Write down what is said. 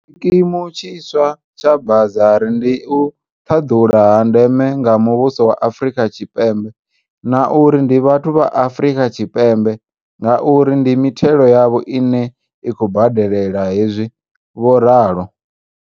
Tshikimu tshiswa tsha ba zari ndi u ṱhaḓula ha ndeme nga muvhuso wa Afrika Tshipembe, na uri, ndi vhathu vha Afrika Tshipembe ngauri ndi mithelo yavho ine ya khou badelela hezwi, vho ralo.